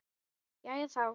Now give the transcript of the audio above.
Jæja, þá.